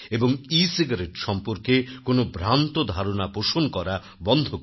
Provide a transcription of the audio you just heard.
e-cigarette সম্পর্কে কোন ভ্রান্ত ধারনা পোষণ করা বন্ধ করুন